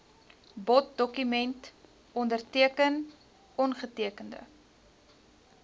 boddokument onderteken ongetekende